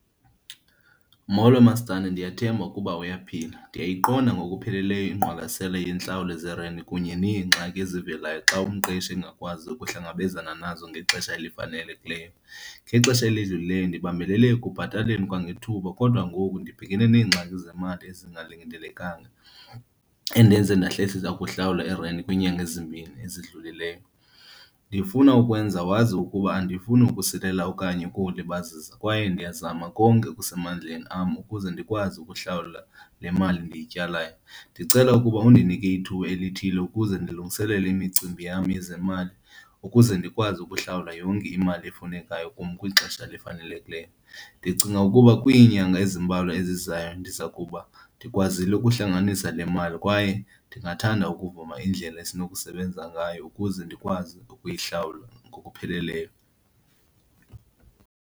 Molo, masitandi. Ndiyathemba ukuba uyaphila. Ndiyayiqonda ngokupheleleyo ingqwalasela yentlawulo zerenti kunye neengxaki ezivelayo xa umqeshi endingakwazi ukuhlangabezana nazo ngexesha elifanelekileyo. Ngexesha elidlulileyo ndibambelele ekubhataleni kwangethuba kodwa ngoku ndibhekene neengxaki zemali ezingalindelekanga endenze ndahlehlisa ukuhlawula irenti kwiinyanga ezimbini ezidlulileyo. Ndifuna ukwenza wazi ukuba andifuni ukusilela okanye ukulibazisa kwaye ndiyazama konke okusemandleni am ukuze ndikwazi ukuhlawula le mali ndiyityalayo. Ndicela ukuba undinike ithuba elithile ukuze ndilungiselele imicimbi yam yezemali ukuze ndikwazi ukuhlawula yonke imali efunekayo kum kwixesha elifanelekileyo. Ndicinga ukuba kwiinyanga ezimbalwa ezizayo ndizawukuba ndikwazile ukuhlanganisa le mali kwaye ndingathanda ukuvuma iindlela esinokusebenza ngayo ukuze ndikwazi ukuyihlawula ngokupheleleyo.